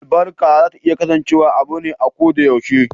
Albarka za ta kasance abu me a ko da yaushe.